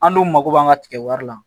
An dun mako b'an ka tigɛ wari la